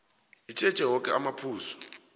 itjheje woke amaphuzu